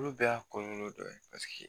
Olu bɛɛ y'a kɔlɔlɔ dɔ ye.